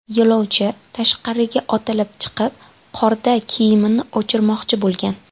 Yo‘lovchi tashqariga otilib chiqib qorda kiyimini o‘chirmoqchi bo‘lgan.